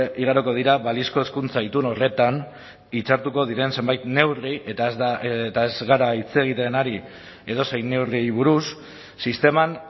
igaroko dira balizko hezkuntza itun horretan hitzartuko diren zenbait neurri eta ez gara hitz egiten ari edozein neurriei buruz sisteman